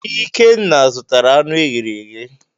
Ikenna zụtara anụ e ghere eghe.